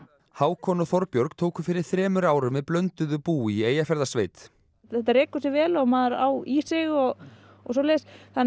Hákon og Þorbjörg tóku fyrir þremur árum við blönduðu búi í Eyjafjarðarsveit þetta rekur sig vel og maður á í sig og og svoleiðis